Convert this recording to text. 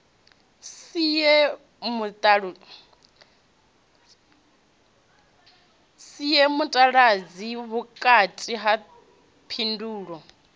sie mutaladzi vhukati ha phindulo